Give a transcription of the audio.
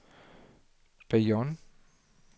Bayonne